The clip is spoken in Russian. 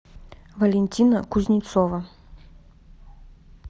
валентина кузнецова